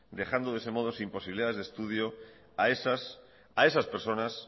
dejando de ese modo sin posibilidades de estudio a esas personas